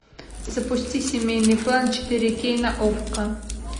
запусти семейный план четыре кей на окко